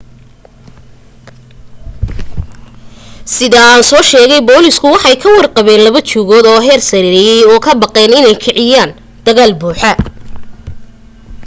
sida ansa sheegay booliisku waxay ka warwar qabeen laba jugood oo heer sareeyay oo ka baqeen inay kiciyaan dagaal buuxa